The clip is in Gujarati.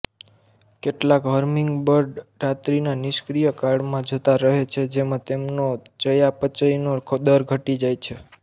કેટલાક હમીંગબર્ડ રાત્રિના નિષ્ક્રીય કાળમાં જતા રહે છે જેમાં તેમનો ચયાપચયનો દર ઘટી જાય છે